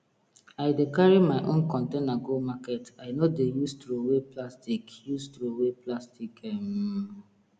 i dey carry my own container go market i no dey use throway plastic use throway plastic um